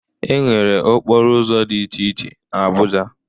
e nwere okporo ụzọ dị iche iche n'Abuja